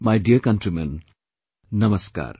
My dear countrymen, Namaskar